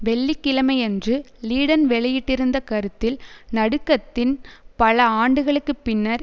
வெள்ளி கிழமையன்று லீடன் வெளியிட்டிருந்த கருத்தில் நடுக்கத்தின் பல ஆண்டுகளுக்கு பின்னர்